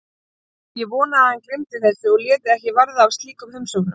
Ég vonaði að hann gleymdi þessu og léti ekki verða af slíkum heimsóknum.